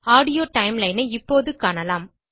audio timeline ஐ இப்போது காணலாம்